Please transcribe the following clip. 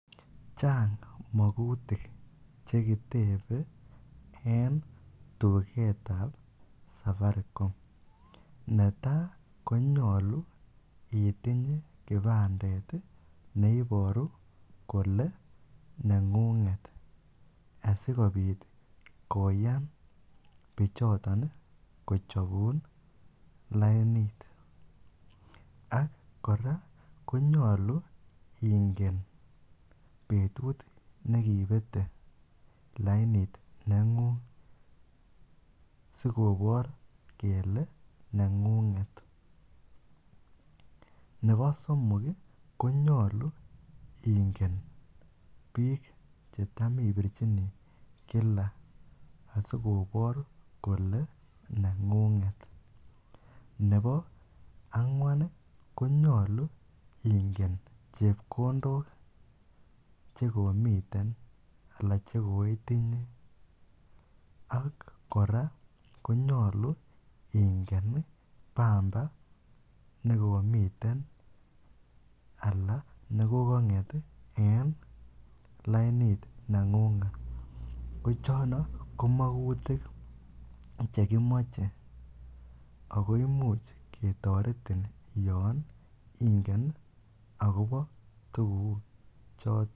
Chang mokutik chekitebe en tuketab Safaricom, netaa konyolu itinye kipandet neiboru kole nengunget sikobit koyan bichoton kochobun lainit ak kora konyolu ingen betut nekibete lainit nengung sikobor kele nengunget, nebo somok konyolu ingen biik chetam ibirchini kila asikobor kole nengunget, nebo angwan konyolu ingen chepkondok chekomiten alaa chekoitinye ak kora konyolu ingen bamba nekomiten alaa nekokonget en lainit nengunget, ko chono ko mokutik chekimoche ak ko imuch ketoretin yoon ingen akobo tukuchoton.